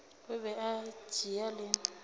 a be a tšea le